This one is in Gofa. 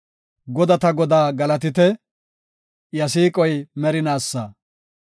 Godata Godaa galatite! Iya siiqoy merinaasa.